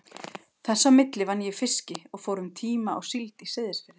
Þess á milli vann ég í fiski og fór um tíma í síld á Seyðisfirði.